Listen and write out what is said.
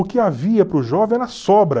O que havia para o jovem era sobra.